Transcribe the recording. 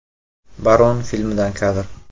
“Baron” filmidan kadr.